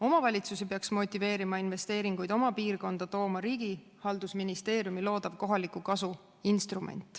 Riigihalduse ministri haldusalas loodav kohaliku kasu instrument peaks motiveerima oma piirkonda investeeringuid tooma.